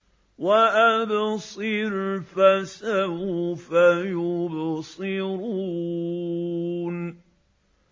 وَأَبْصِرْ فَسَوْفَ يُبْصِرُونَ